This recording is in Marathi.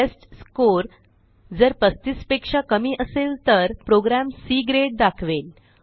टेस्टस्कोर जर 35 पेक्षा कमी असेल तर प्रोग्रॅम सी ग्रेड दाखवेल